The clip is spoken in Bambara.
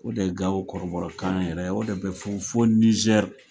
O de ye Gawo kɔrɔbɔrɔkan yɛrɛ ye o de bɛ fɔ fɔ Nijeri.